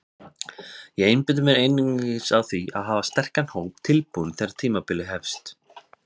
Ég einbeiti mér einungis að því að hafa sterkan hóp tilbúinn þegar tímabilið hefst.